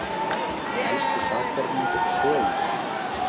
Elsti sakborningur sögunnar